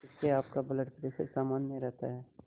इससे आपका blood pressure सामान्य रहता है